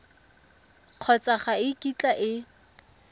kgotsa ga e kitla e